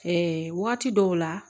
waati dɔw la